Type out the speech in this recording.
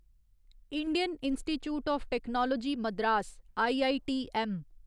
Indian institute of technology Madras IITM